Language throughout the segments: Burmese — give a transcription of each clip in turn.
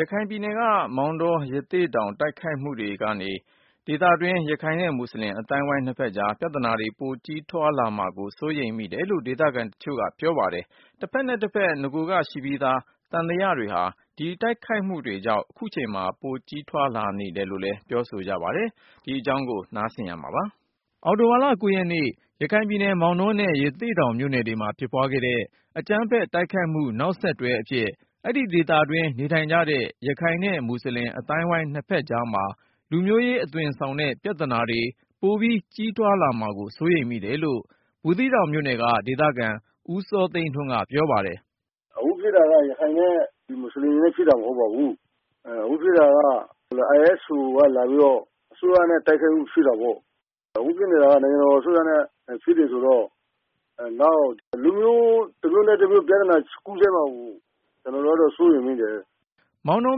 ရခိုင်ပြည်နယ် မောင်တော ရသေ့တောင် တိုက်ခိုက်မှုတွေကနေ ဒေသတွင်း ရခိုင်နဲ့ မူဆလင် အသိုင်းအဝိုင်းနှစ်ဖက်ကြား ပြဿနာတွေပိုကြီး ထွားလာမှာကို စိုးရိမ်မိတယ် လို့ ဒေသခံတချို့က ပြောပါတယ်။ တဖက်နဲ့တဖက် နဂိုကရှိပြီးသား သံသယတွေ ဟာ ဒီတိုက်ခိုက်မှုတွေကြောင့် ခုချိန်မှာ ပိုကြီးထွား လာနေတယ် လို့လည်း ပြောဆို ကြပါတယ်။ ဆက်သွယ်မေးမြန်းထားတဲ့ ကိုဉာဏ်ဝင်းအောင်က တင်ပြပါမယ်။ အောက်တိုဘာလ ရက်နေ့ ရခိုင်ပြည် မောင်တောနဲ့ ရသေ့တောင် မြို့နယ်တွေမှာ ဖြစ်ပွားခဲ့တဲ့ အကြမ်းဖက်တိုက်ခိုက်မှု နောက်ဆက်တွဲ အဖြစ် အဲဒီဒေသတွင်း နေ ထိုင်ကြတဲ့ ရခိုင်နဲ့မူဆလင် အသိုင်းအဝိုင်းနှစ်ဖက်ကြားမှာ လူမျိုးရေးအသွင်ဆောင် တဲ့ ပြဿနာတွေ ပိုပြီးကြီးထွား လာမှာကို စိုးရိမ်မိတယ်လို့ ဘူးသီးတောင်မြို့နယ် က ဒေသခံ ဦးစောသိန်းထွန်းက ပြောပါတယ်။ “အခုဖြစ်တာက ရခိုင်နဲ့ ဒီမူဆလင်တွေနဲ့ ဖြစ်တာမဟုတ်ပါဘူး။ အခုဖြစ်တာက RSO ကလာပြီးတော့ အစိုးရနဲ့ တိုက်ခိုက်လို့ ဖြစ်တာပေါ့။ အခု ဖြစ်နေတာက နိူင်ငံတော်အစိုးရနဲ့ ဖြစ်နေတာ ဆိုတော့ နောက်ကျရင် လူမျိုး တမျိုးနဲ့တမျိုး ပြဿနာကူးစက်မှာကို ကျနော်တို့ စိုးရိမ်မိတယ်” မောင်တော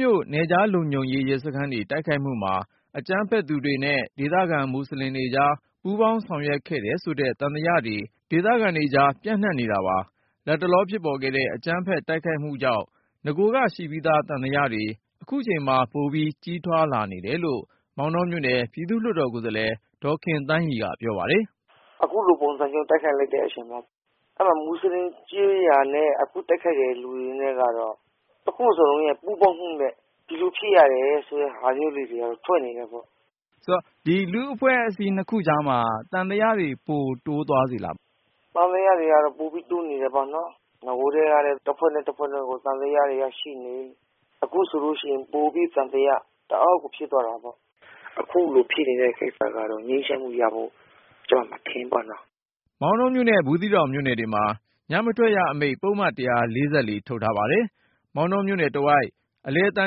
မြို့ နယ်ခြားလုံခြုံရေးရဲစခန်းတွေ တိုက်ခိုက်မှုမှာ အကြမ်းဖက်သူတွေ နဲ့ ဒေသခံမူဆလင်တွေကြား ပူးပေါင်းဆောင်ရွက်ခဲ့တယ် ဆိုတဲ့သံသယတွေ ဒေသ ခံတွေကြား ပျံ့နှံ့နေတာပါ။ လတ်တလောဖြစ်ပေါ်ခဲ့တဲ့ အကြမ်းဖက်တိုက်ခိုက် မှုကြောင့် နဂိုကရှိပြီးသား သံသယတွေ ခုချိန်မှာ ပိုကြီးထွားလာနေတယ် လို့ မောင်တောမြို့နယ် ပြည်သူ့လွှတ်တော်ကိုယ်စားလှယ် ဒေါ်ခင်သန်းရီက ပြောပါတယ်။ “အခုလိုပုံစံမျိုး တိုက်ခိုက်လိုက်တဲ့အချိန်မှာ အဲ့မှာ မူဆလင်ကျေးရွာနဲ့ အခု တိုက်ခိုက်တဲ့ လူတွေနဲ့ကတော့၊ နှစ်ခုစလုံးရဲ့ ပူးပေါင်းမှုနဲ့ ဒီလို ဖြစ်ရတယ် ဆိုတဲ့ ဟာမျိုးတွေ ထွက်နေတယ်ပေါ့” မေး ။ ။ ဆိုတော့ ဒီလူ့အဖွဲ့အစည်းနှစ်ခုကြားမှာ သံသယတွေ ပိုတိုးသွားစေလား။ “သံသယတွေကတော့ ပိုပြီးတိုးနေတယ်ပေါ့နော်။ နဂိုကတည်းကလဲ တဖွ့ဲနဲ့တဖွဲ့က သံသယတွေက ရှိနေ၊ အခုဆိုလို့ရှိရင် ပိုပြီး သံသယ တအားကို ဖြစ်သွားတာပေါ့။ အခုလိုဖြစ်နေတဲ့ ကိစ္စကတော့ ငြိမ်းချမ်းမှုရဖို့ ကျမ မထင်မိဘူး” မောင်တောမြို့နဲ့ ဘူးသီးတောင်မြို့နယ်တွေမှာ ညမထွက်ရအမိန့် ပုဒ်မ ထုတ် ထားပြီး၊ မောင်တောမြို့နယ်တဝိုက် အလယ်သံ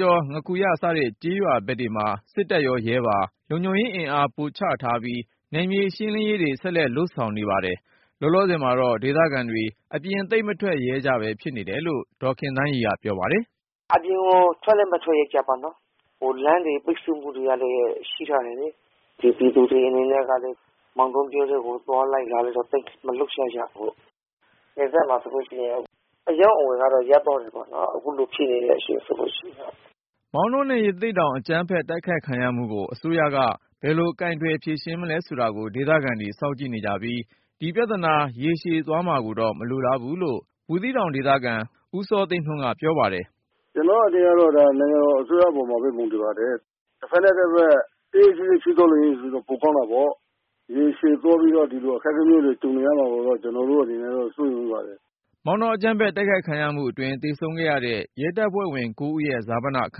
ကျော်၊ ငါးခူရ စတဲ့ကျေးရွာဘက်တွေ မှာ စစ်တပ်ရော ရဲပါ လုံခြုံရေးအင်အား ပိုချထားပြီး၊ နယ်မြေရှင်းလင်းရေးတွေ ဆက်လက် လုပ်ဆောင်နေ ပါတယ်။ လောလောဆယ်မှာတော့ ဒေသခံတွေ အပြင် သိပ်မထွက်ရဲကြပဲ ဖြစ်နေတယ်လို့ ဒေါ်ခင်သန်းရီက ပြောပါတယ်။ “အပြင်ကို ထွက်လဲမထွက်ရဲကြဘူးပေါ့နော်၊ လမ်းတွေ ပိတ်ဆို့တာကလည်း ရှိထား တယ်လေ။ ဒီပြည်သူတွေ အနေနဲ့ကလည်း မောင်တော မြို့ထဲကို သွားလိုက် လာလိုက် သိပ် မလုပ်ကြဘူး။ နယ်စပ်မှာဆိုလို့ရှိရင် အရောင်းအဝယ်က ရပ်သွား တယ်ပေါ့… အခုလိုဖြစ်နေတဲ့ အခြေနေတွေကြောင့် ” မောင်တောနဲ့ ရသေ့တောင် အကြမ်းဖက်တိုက်ခိုက်ခံရမှုကို အစိုးရက ဘယ်လို ကိုင်တွယ်ဖြေရှင်းမလဲဆိုတာကို ဒေသခံတွေက စောင့်ကြည့် နေကြပြီး၊ ဒီပြဿ နာ ရေရှည်သွားမှာကိုတော့ မလိုလားဘူးလို့ ဘူးသီးတောင်ဒေသခံ ဦးစောသိန်းထွန်းက ပြောပါတယ်။ “ကျနော့်အမြင်ကတော့ ဒါ နိူင်ငံတော်အစိုးရ ပေါ်မှာပဲ မူတည်ပါတယ်၊ တဖက်နဲ့ တဖက် တိတ်တိတ်ဆိတ်ဆိတ် ဖြစ်သွားလို့ရှိရင် ပိုကောင်း တာပေါ့။ ရေရှည်သွားပြီး ဒီလိုအခက်အခဲမျိုးတွေ ကြုံနေရမှာကိုတော့ ကျနော်တို့အနေနဲ့ စိုးရိမ်မိပါတယ်” မောင်တောအကြမ်းဖက် တိုက်ခိုက်ခံရမှုအတွင်း သေဆုံးခဲ့ရတဲ့ ရဲတပ်ဖွဲ့ဝင် ဦး ရဲ့ဈာပနအခ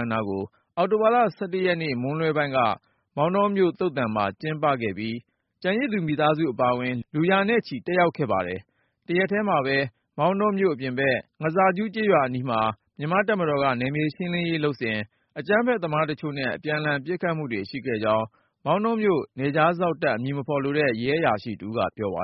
မ်းအနားကို အောက်တိုဘာ ရက်နေ့ မွန်းလွဲ ပိုင်းက မောင်တောမြို့ သုဿ န် မှာ ကျင်းပခဲ့ပြီး ကျန်ရစ်သူမိသားစုတွေအပါအဝင် လူရာနဲ့ ချီတက်ရောက်ခဲ့ပါတယ်။ တရက်ထဲမှာပဲ မောင်တော မြု့ိအပြင်ဖက် ငါးစာကြူးကျေးရွာ အနီးမှာ မြန်မာ့တပ်မတော်က နယ်မြေရှင်းလင်းရေးလုပ်နေစဉ် အကြမ်းဖက်သမားတချို့နဲ့ အပြန်လှန် ပစ်ခတ်မှုတွေ ရှိခဲ့ကြောင်း မောင်တောမြို့ နယ်ခြားစောင့်တပ် အမည်မဖေါ်လိုတဲ့ ရဲအရာရှိတဦးက ပြောပါ